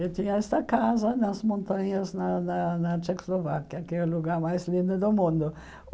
Eu tinha esta casa nas montanhas na na na Tchecoslováquia, que é o lugar mais lindo do mundo.